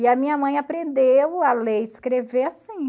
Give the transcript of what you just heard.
E a minha mãe aprendeu a ler e escrever assim.